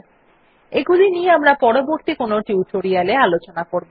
এগুলি নিয়ে আমরা পরবর্তী কোনো টিউটোরিয়াল এ আলোচনা করবো